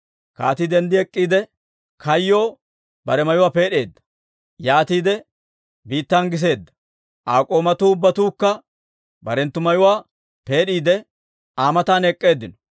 Kaatii denddi ek'k'iide, kayyoo bare mayuwaa peed'eedda; yaatiide biittan giseedda. Aa k'oomatuu ubbatuukka barenttu mayuwaa peed'iide, Aa matan ek'k'eeddinno.